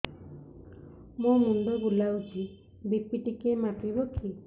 ମୋ ମୁଣ୍ଡ ବୁଲାଉଛି ବି.ପି ଟିକିଏ ମାପିବ କି